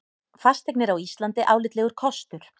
Fasteignir á Íslandi álitlegur kostur